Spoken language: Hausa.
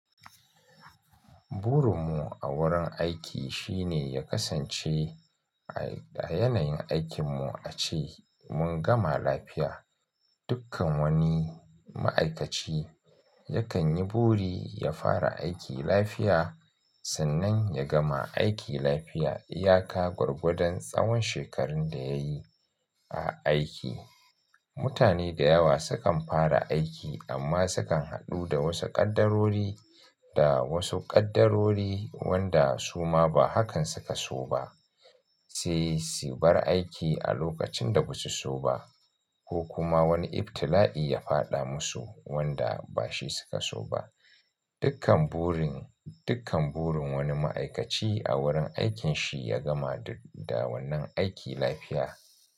Burin mu a wurin aiki shine ya kasance ayanayin aikin mu a ce mun gama lafiya. Dukkan wani ma'aikaci yakan yi buri ya fara aiki lafiya sannan ya gama aiki lafiya. Iyaka gwargwadon tsawon shekarun da yayi a aiki. Mutane da yawa sukan fara aiki amma sukan haɗu da wasu ƙaddarori, da wasu ƙaddarori, wanda suma ba hakan suka so ba. Sai su bar aiki a lokacin da basu so ba, ko kuma wani ibtila'i ya fada musu wanda bashi suka so ba. Dukkan burin, dukkan burin wani ma'aikaci a wurin aikin shi ya gama duk da wannan aiki lafiya.